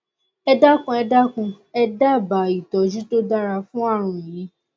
ẹ dákun ẹ dákun ẹ dábàá ìtọjú tó dára fún ààrùn yìí